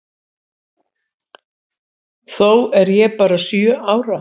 Þó er ég bara sjö ára.